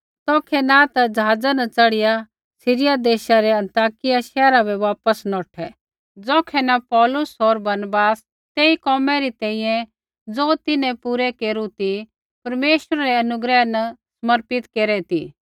तौखै न ते ज़हाज़ा न च़ढ़िया सीरिया देशा रै अन्ताकिया शैहरा बै वापस नौठै ज़ौखै न पौलुस होर बरनबास तेई कोमै री तैंईंयैं ज़ो तिन्हैं पूरा केरू ती परमेश्वरै रै अनुग्रह न समर्पित केरै ती